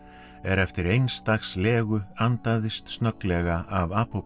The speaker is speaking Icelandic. er eftir eins dags legu andaðist snögglega af